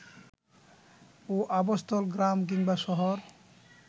ও আবাসস্থল গ্রাম কিংবা শহর